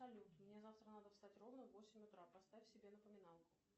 салют мне завтра надо встать ровно в восемь утра поставь себе напоминалку